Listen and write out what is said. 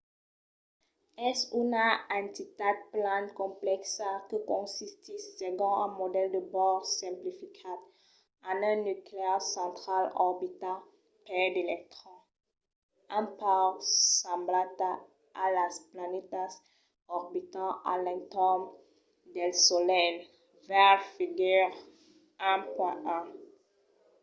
es una entitat plan complèxa que consistís segon un modèl de bohr simplificat en un nuclèu central orbitat per d’electrons un pauc semblanta a las planetas qu'orbitan a l'entorn del solelh - veire figura 1.1